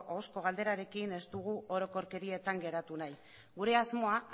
ahozko galderarekin ez dugu orokorkerietan geratu nahi gure asmoa